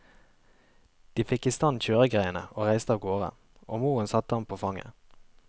De fikk i stand kjøregreiene og reiste av gårde, og moren satte ham på fanget.